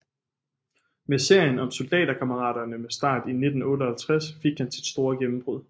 Med serien om Soldaterkammeraterne med start i 1958 fik han sit store gennembrud